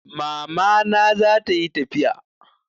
Mama na zata yi tafiya